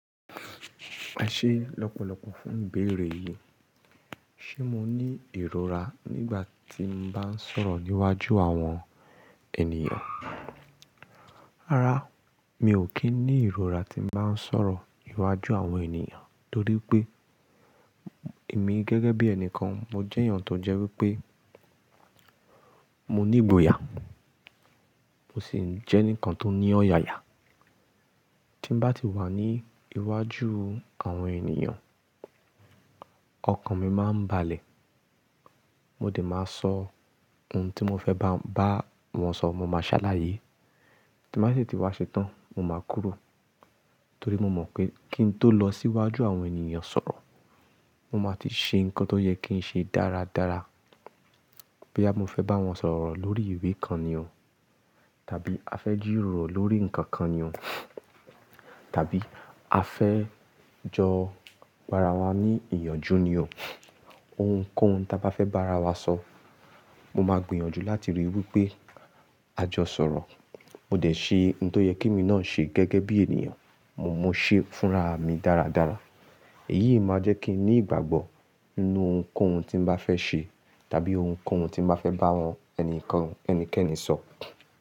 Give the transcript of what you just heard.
A ṣe lọ́pọ̀lọpọ̀ fún ìbéèrè yìí. Ṣé mo ní ìrora nígbà tí mo bá ń sọ̀rọ̀ níwájú àwọn ènìyàn? Rárá, mi ò kí ń ní ìrora tí n bá ń sọ̀rọ̀ iwájú àwọn ènìyàn, torí pé èmi gẹ́gẹ́ bí ẹni kan, mo jẹ́ èèyàn tó jẹ́ wípé mo ní ìgbòyà, mo sì ń jẹ́ eǹikan tó ní ọ̀yàyà. Tí bà tí wà ní iwájú àwọn ènìyàn, ọkàn mi máa ń balẹ̀. Mo dẹ̀ máa sọ ohun tí mo fẹ́ bá wọn sọ̀rọ̀, mo máa ṣálàyé. Tí màá sì ti wá ṣe tán, mo máa kúrò. Torí mo mọ̀ pé kí n tó lọ sí iwájú àwọn ènìyàn sọ̀rọ̀, mo máa ti ṣe ǹkan tó yẹ kí n ṣe dáradára. Bí àmo fẹ́ bá wọn sọ̀rọ̀ lórí ìwé kan ni o, tàbí a fẹ́ jírórò lórí ǹkan kan ni o, tàbí a fẹ́ jọ gbara wa ní ìyànjú ni o. Ohunkóhun tí a bá fẹ́ bá ara wa sọ, mo máa gbìyànjú láti ríi wípé a jọ sọ̀rọ̀. Mo dẹ̀ ṣe ǹ tó yẹ kí mi náà ṣe gẹ́gẹ́ bí ènìyàn, mo mú un ṣe fúnraà mi dáradára. Èyí máa jẹ́ kí n ní ìgbàgbọ́ inú ohunkóhun tí n bàá fẹ́ ṣe, tàbí ohunkóhun tí màá fẹ́ bá àwọn ẹnìkan ẹnikẹ́ni sọ.